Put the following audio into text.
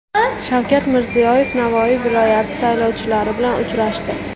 Shavkat Mirziyoyev Navoiy viloyati saylovchilari bilan uchrashdi.